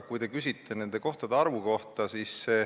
Te küsite nende kohtade arvu kohta.